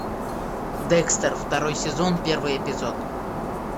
декстер второй сезон первый эпизод